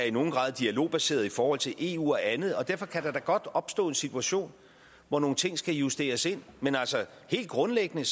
i nogen grad er dialogbaseret i forhold til eu og andet og derfor kan der da godt opstå en situation hvor nogle ting skal justeres men altså helt grundlæggende